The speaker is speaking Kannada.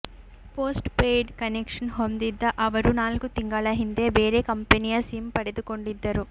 ಪೋಸ್ಟ್ ಪೇಯ್ಡ್ ಕನೆಕ್ಷನ್ ಹೊಂದಿದ್ದ ಅವರು ನಾಲ್ಕು ತಿಂಗಳ ಹಿಂದೆ ಬೇರೆ ಕಂಪೆನಿಯ ಸಿಮ್ ಪಡೆದುಕೊಂಡಿದ್ದರು